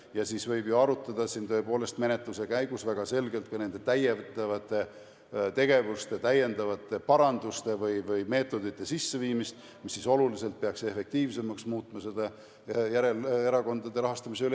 Ja siis võib ju arutada siin tõepoolest menetluse käigus väga selgelt ka nende lisategevuste, paranduste või meetodite sisseviimist, mis peaks siis oluliselt efektiivsemaks muutma ka järelevalvet erakondade rahastamise üle.